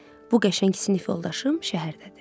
bu qəşəng sinif yoldaşım şəhərdədir.